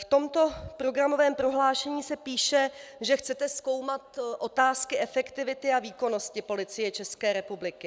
V tomto programovém prohlášení se píše, že chcete zkoumat otázky efektivity a výkonnosti Policie České republiky.